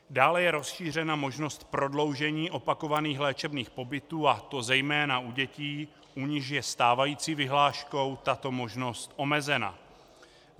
Dále je rozšířena možnost prodloužení opakovaných léčebných pobytů, a to zejména u dětí, u nichž je stávající vyhláškou tato možnost omezena.